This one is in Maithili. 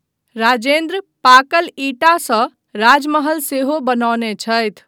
राजेन्द्र पाकल ईंटासँ राजमहल सेहो बनौने छथि।